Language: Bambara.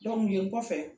nin kɔfɛ